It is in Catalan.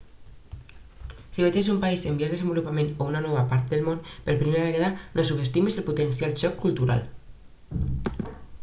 si viatges a un país en vies desenvolupament o a una nova part del món per primera vegada no subestimis el potencial xoc cultural